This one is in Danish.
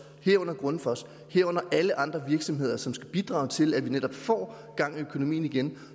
herunder grundfos herunder alle andre virksomheder som skal bidrage til at vi netop får gang i økonomien igen